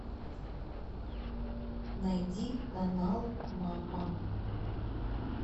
найди канал мама